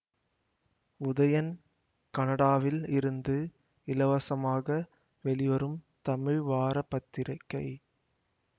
உதயன் கனடாவில் இருந்து இலவசமாக வெளிவரும் தமிழ் வார பத்திரிக்கை